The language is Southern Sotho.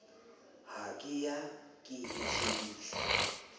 ha ke ya ke shebile